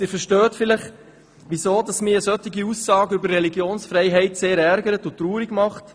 Sie verstehen vielleicht, weshalb mich eine solche Aussage über Religionsfreiheit sehr ärgert und traurig macht.